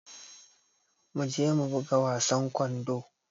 Mu je mu buga wasan kwando.